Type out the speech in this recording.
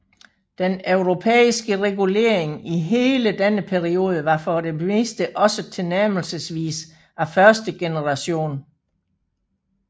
Den europæiske regulering i hele denne periode var for det meste også tilnærmelsesvis af første generation